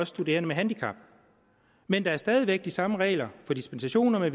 studerende med handicap men der er stadig væk de samme regler for dispensationer